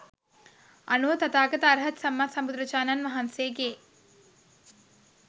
අනුව තථාගත අර්හත් සම්මා සම්බුදුරජාණන් වහන්සේගේ